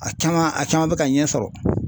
A caman a caman bɛ ka ɲɛ sɔrɔ.